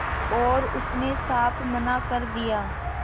और उसने साफ मना कर दिया